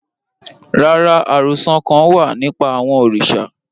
Rara, arosọ kan wa nipa awọn oriṣa